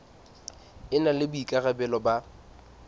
e na le boikarabelo ba